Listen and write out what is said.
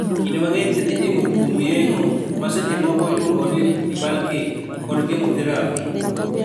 Kinde mang'eny thieth itimo kuom yeng'o (ma seche moko iluongo ni "debulking") kod chemotherapy.